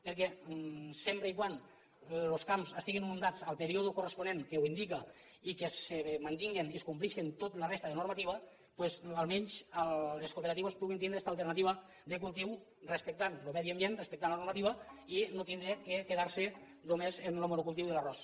perquè sempre que los camps estiguin inundats el pe·ríode corresponent que ho indica i que se mantingui i es compleixi tota la resta de normativa doncs almenys les cooperatives puguin tindre esta alternativa de cultiu respectant lo medi ambient respectant la normativa i no tindre de quedar·se només en lo monocultiu de l’ar·ròs